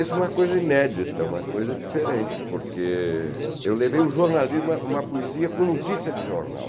Isso é uma coisa inédita, uma coisa diferente, porque eu levei o jornalismo, uma uma poesia com notícia de jornal.